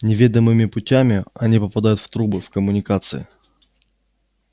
неведомыми путями они попадают в трубы в коммуникации